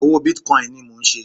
Òwò bitcoin ni mò ń ṣe.